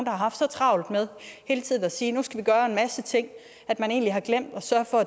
har haft så travlt med hele tiden at sige at nu skal vi gøre en masse ting at man egentlig har glemt at sørge for